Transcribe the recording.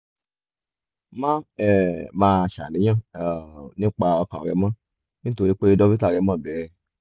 má um máa ṣàníyàn um nípa ọkàn rẹ mọ́ nítorí pé dókítà rẹ mọ̀ bẹ́ẹ̀